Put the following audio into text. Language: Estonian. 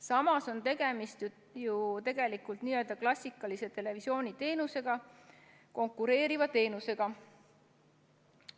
Samas on tegemist ju tegelikult n-ö klassikalise televisiooniteenusega konkureeriva teenusega.